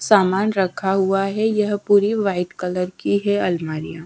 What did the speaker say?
सामान रखा हुआ है यह पूरी व्हाईट कलर की है अलमारिया।